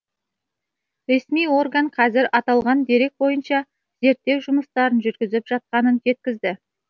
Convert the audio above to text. ресми орган қазір аталған дерек бойынша зерттеу жұмыстарын жүргізіп жатқанын жеткізді